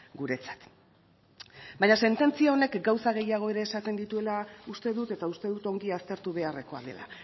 guretzat baina sententzia honek gauza gehiago ere esaten dituela uste dut eta uste dut ongi aztertu beharrekoa dela